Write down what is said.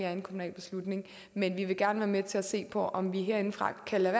er en kommunal beslutning men vi vil gerne være med til at se på om vi herindefra kan lade